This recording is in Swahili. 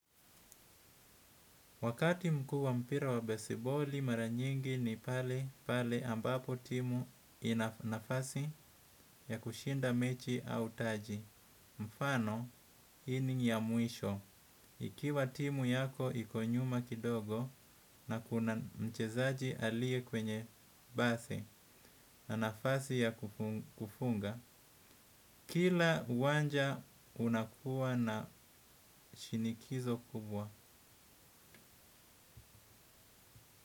Wakati mkuuwa mpira wa baseballi maranyingi ni pale ambapo timu inanafasi ya kushinda mechi au taji. Mfano yamwisho. Ikiwa timu yako ikonyuma kidogo na kuna mchezaji alie kwenye basi na nafasi ya kufunga. Kila uwanja unakuwa na shinikizo kubwa.